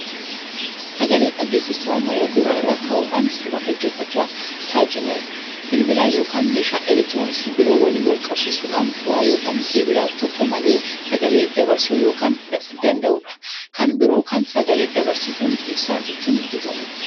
Sagale-dhageesistuu ammayyaa gurra irra kaa'amuun sirba dheggeeffachuuf tajaanilu. Bilbila yookan meeshaa elektirooniksii biroo waliin walqunnamsiisuun foo'aa yookan keebila tokko malee sagalee dabarsuu kan danda'uudha. kan biroo kan sagal-dabarsituun ibsaan ittiin guutamuudha.